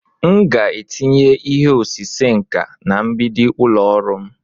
M ga-etinye ihe osise nka na mgbidi ụlọ ọrụ m.